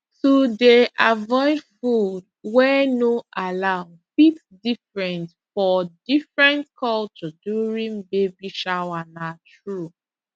to dey avoid food wey no allow fit different for different culture during baby shower na true